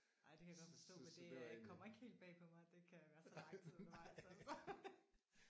Ej det kan jeg godt forstå. Men det kommer ikke helt bag på mig at det kan være så lang tid undervejs altså